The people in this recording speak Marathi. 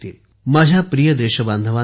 माझ्या प्रिय देशबांधवांनो